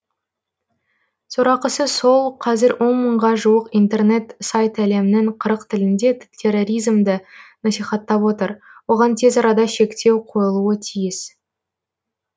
сорақысы сол қазір он мыңға жуық интернет сайт әлемнің қырық тілінде терроризмді насихаттап отыр оған тез арада шектеу қойылуы тиіс